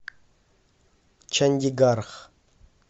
чандигарх